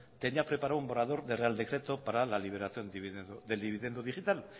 tenía preparado un borrador de real decreto para la liberación del dividendo digital